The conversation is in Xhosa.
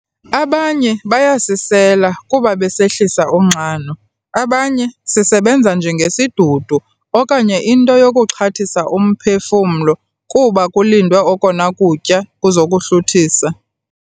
Abanye bayasisela kuba besehlisa unxano, abanye sisebenza njengesidudu okanye into yokuxhathisa umphefumlo kuba kulindwe okona kutya kuzokuhluthisa.